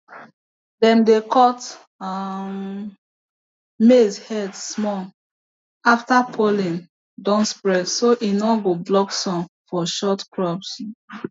dem dey cut um maize head small after pollen don spread so e no go block sun for short crops